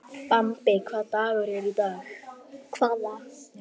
Bambi, hvaða dagur er í dag?